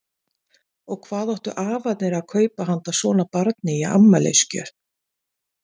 Og hvað áttu afarnir að kaupa handa svona barni í afmælisgjöf?